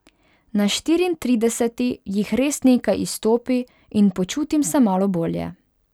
Na Štiriintrideseti jih res nekaj izstopi in počutim se malo bolje.